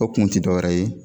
O kun tɛ dɔ wɛrɛ ye.